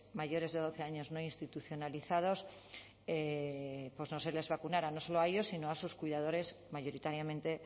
mayores de doce años no institucionalizados pues no se les vacunará no solo a ellos sino a sus cuidadores mayoritariamente